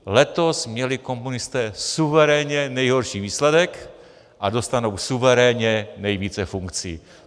Letos měli komunisté suverénně nejhorší výsledek, a dostanou suverénně nejvíce funkcí.